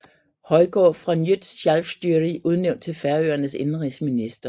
Højgaard fra Nýtt Sjálvstýri udnævnt til Færøernes indenrigsminister